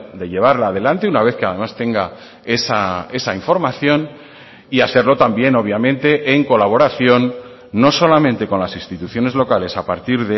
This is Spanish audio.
de llevarla a delante una vez que además tenga esa información y hacerlo también obviamente en colaboración no solamente con las instituciones locales a partir